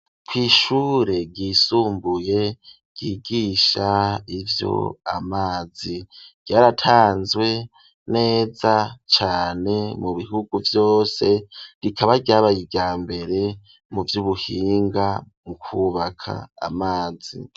Kw'ishure ryisumbuye ryigisha ivyo amazi ryaratanzwe neza cane mu bihugu vyose rikaba ryabaye ryambere mu vy'ubuhinga mu kubaka amazi.